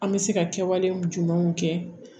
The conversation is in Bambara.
An bɛ se ka kɛwale jumɛnw kɛ